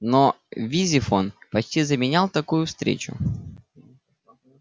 но визифон почти заменял такую встречу